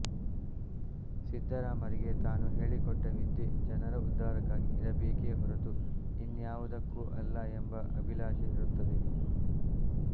ಸಿದ್ಧರಾಮರಿಗೆ ತಾನು ಹೇಳಿಕೊಟ್ಟ ವಿದ್ಯೆ ಜನರ ಉದ್ಧಾರಕ್ಕಾಗಿ ಇರಬೇಕೆ ಹೊರತು ಇನ್ಯಾವುದಕ್ಕೂ ಅಲ್ಲ ಎಂಬ ಅಭಿಲಾಷೆಯಿರುತ್ತದೆ